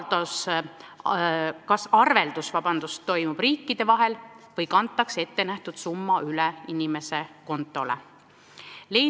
Ja kas arveldus toimub riikide vahel või kantakse ettenähtud summa üle inimese kontole?